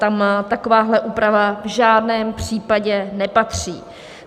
Tam takováhle úprava v žádném případě nepatří.